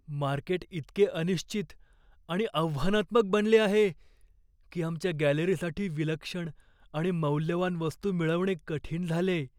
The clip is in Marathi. मार्केट इतके अनिश्चित आणि आव्हानात्मक बनले आहे की आमच्या गॅलरीसाठी विलक्षण आणि मौल्यवान वस्तू मिळवणे कठीण झालेय.